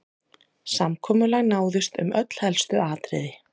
Samkomulag náðist um öll helstu atriði